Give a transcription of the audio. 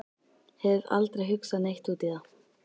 Hef aldrei hugsað neitt út í það.